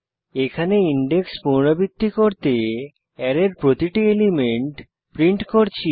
এখানে ইনডেক্স পুনরাবৃত্তি করতে অ্যারের প্রতিটি এলিমেন্ট প্রিন্ট করছি